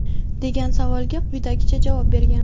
degan savolga quyidagicha javob bergan:.